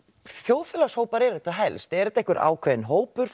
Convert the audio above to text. þjóðfélagshópar eru þetta helst er þetta einhver ákveðinn hópur